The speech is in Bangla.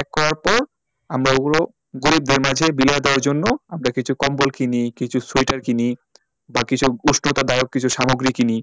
এক করার পর আমার ওগুলো গরিবদের মাঝে বিলিয়ে দেওয়ার জন্য আমরা কিছু কম্বল কিনি কিছু সোয়েটার কিনি বাকি সব উষ্ণতাদায়াক কিছু সামগ্রী কিনি